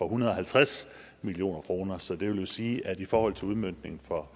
hundrede og halvtreds million kroner så det vil jo sige at i forhold til udmøntningen for